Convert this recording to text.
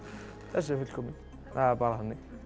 þessi er fullkominn það er bara þannig